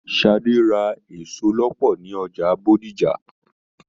Sadé Ra èso lọpọ ní ọjà Bódìjà.